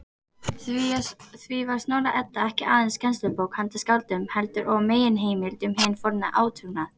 Því var Snorra-Edda ekki aðeins kennslubók handa skáldum, heldur og meginheimild um hinn forna átrúnað.